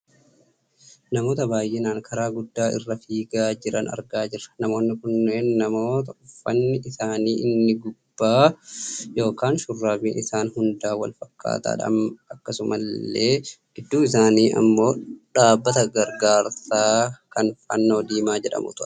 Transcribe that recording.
namoota baayyinaan karaa guddaa irra fiigaa jiran argaa jirra. namoonni kunneen namoota uffanni isaanii inni gubbaa yookaan shurraabiin isaan hundaa wal fakkaataadha. akkasumallee gidduu isaanii ammoo dhaabbata gargaarsaa kan fannoo diimaa jedhamutu argama.